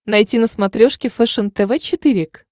найти на смотрешке фэшен тв четыре к